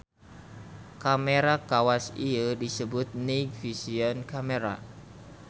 Kamera kawas ieu disebut night vision camera.